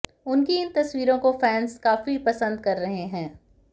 उनकी इन तस्वीरों को फैंस काफी पसंद कर रहे हैं